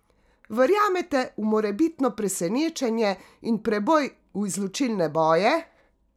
Verjamete v morebitno presenečenje in preboj v izločilne boje?